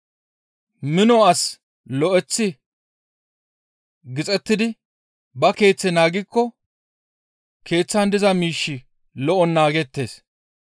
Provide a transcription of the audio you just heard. «Mino asi lo7eththi gixettidi ba keeththe naagikko keeththaan diza miishshi lo7on naagettees.